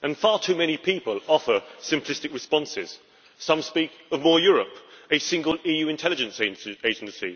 And far too many people offer simplistic responses some speak of more Europe a single EU intelligence agency